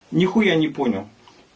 нехуя не понял